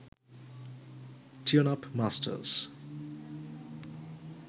tuneup masters